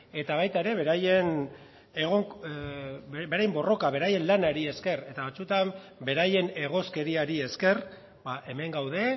eta baita beraien borrokari esker ere batzuetan beraien egoskeriari esker hemen gaude